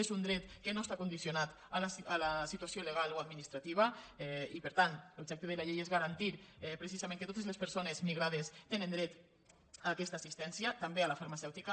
és un dret que no està condicionat a la situació legal o administrativa i per tant l’objecte de la llei és garantir precisament que totes les persones migrades tenen dret a aquesta assistència també a la farmacèutica